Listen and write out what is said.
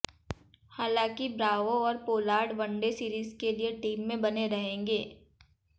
हालांकि ब्रावो और Pollard one day series के लिए टीम में बने रहेंगे